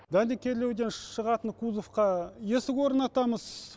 дәнекерлеуден шығатын кузовқа есік орнатамыз